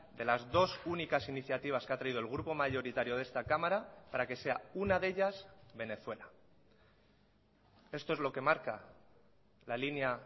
de las dos únicas iniciativas que ha traído el grupo mayoritario de esta cámara para que sea una de ellas venezuela esto es lo que marca la línea